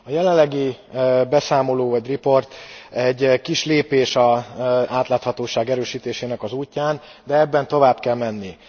A jelenlegi beszámoló vagy riport egy kis lépés az átláthatóság erősítésének az útján, de tovább kell menni.